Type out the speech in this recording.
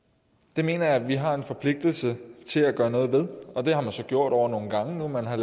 det mener jeg at vi har en forpligtelse til at gøre noget ved det har man så gjort over nogle gange nu man har